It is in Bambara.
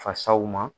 Fasaw ma